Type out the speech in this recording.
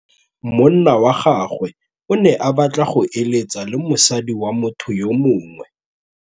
Monna wa gagwe o ne a batla go êlêtsa le mosadi wa motho yo mongwe.